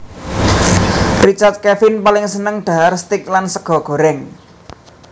Richard Kevin paling seneng dhahar steak lan sega goreng